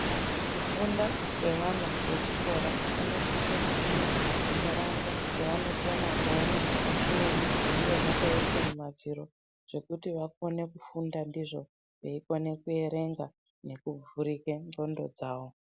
Kufunda kwevana vechikora vanosise kufunda ntaraunda dzevanokona kuone zvimweni zvinenge zvakaiswe mumadziro zvekuti vakone kufunda ndizvo veikona kuerenga nekuvhurike ndxondo dzawo.